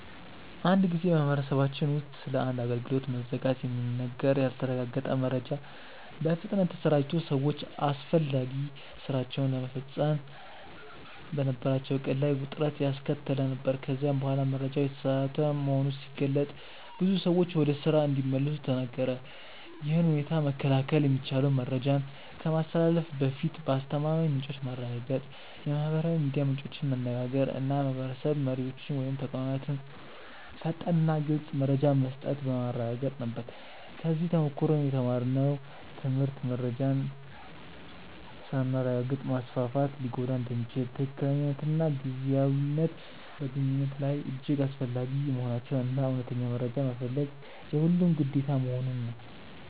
አንድ ጊዜ በማህበረሰባችን ውስጥ ስለ አንድ አገልግሎት መዘጋት የሚነገር ያልተረጋገጠ መረጃ በፍጥነት ተሰራጭቶ ሰዎች አስፈላጊ ሥራቸውን ለመፈጸም በነበራቸው ዕቅድ ላይ ውጥረት ያስከተለ ነበር፤ ከዚያ በኋላ መረጃው የተሳሳተ መሆኑ ሲገለጥ ብዙ ሰዎች ወደ ስራ እንዲመለሱ ተነገረ። ይህን ሁኔታ መከላከል የሚቻለው መረጃን ከማስተላለፍ በፊት ከአስተማማኝ ምንጮች ማረጋገጥ፣ የማህበራዊ ሚዲያ ምንጮችን መነጋገር እና የማህበረሰብ መሪዎች ወይም ተቋማት ፈጣንና ግልፅ መረጃ መስጠት በማረጋገጥ ነበር። ከዚህ ተሞክሮ የተማርነው ትምህርት መረጃን ሳናረጋግጥ ማስፋፋት ሊጎዳ እንደሚችል፣ ትክክለኛነትና ጊዜያዊነት በግንኙነት ላይ እጅግ አስፈላጊ መሆናቸውን እና እውነተኛ መረጃ መፈለግ የሁሉም ግዴታ መሆኑን ነው።